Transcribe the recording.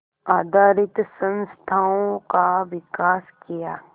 आधारित संस्थाओं का विकास किया